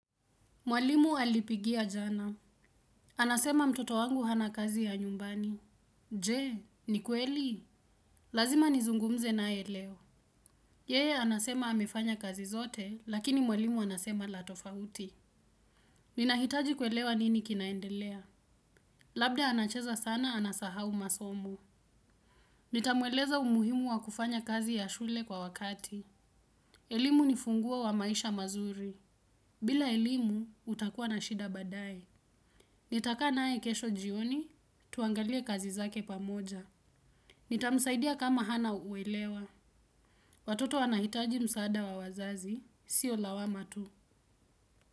Mwalimu alipigia jana. Anasema mtoto wangu hana kazi ya nyumbani. Jee, ni kweli? Lazima nizungumze naye leo. Yeye, anasema amefanya kazi zote, lakini mwalimu anasema la tofauti. Ninahitaji kuelewa nini kinaendelea. Labda anacheza sana, anasahau masomo. Nitamweleza umuhimu wa kufanya kazi ya shule kwa wakati. Elimu ni ufunguo wa maisha mazuri. Bila elimu, utakuwa na shida baadaye. Nitakaa naye kesho jioni, tuangalie kazi zake pamoja. Nitamsaidia kama hana uelewa. Watoto wanahitaji msaada wa wazazi, sio lawama tu.